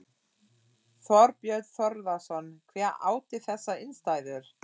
Þorbjörn Þórðarson: Hver átti þessar innstæður?